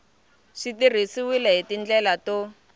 swi tirhisiwile hi tindlela to